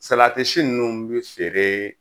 Salatisi ninnu bɛ feere